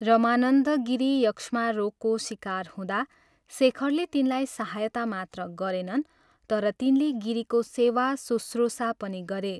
रमानन्द गिरी यक्ष्मा रोगको शिकार हुँदा शेखरले तिनलाई सहायता मात्र गरेनन् तर तिनले गिरीको सेवाशुश्रुषा पनि गरे।